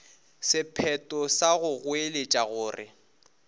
sephetho sa go goeletša gore